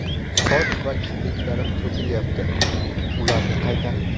Soch va kipriklarim to‘kilyapti – ularni qaytaring!.